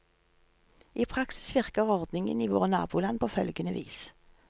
I praksis virker ordningen i våre naboland på følgende vis.